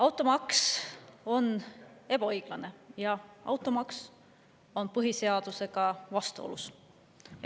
Automaks on ebaõiglane ja automaks on põhiseadusega vastuolus.